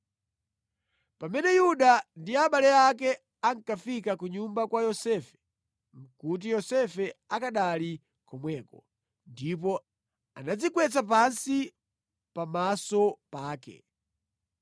Pamene Yuda ndi abale ake ankafika ku nyumba kwa Yosefe nʼkuti Yosefe akanali komweko. Ndipo anadzigwetsa pansi pamaso pake.